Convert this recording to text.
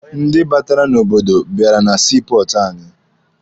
Ndị batara n'obodo bịara na sii pọọtụ anyị.